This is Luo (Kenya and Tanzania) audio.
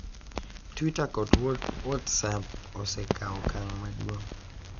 Twitter, kod WhatsApp osekawo okang' maduong'